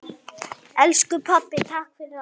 Elsku pabbi, takk fyrir allt.